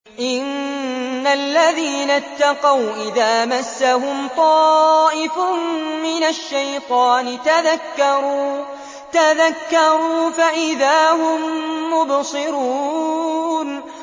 إِنَّ الَّذِينَ اتَّقَوْا إِذَا مَسَّهُمْ طَائِفٌ مِّنَ الشَّيْطَانِ تَذَكَّرُوا فَإِذَا هُم مُّبْصِرُونَ